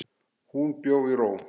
Hún bjó í ró.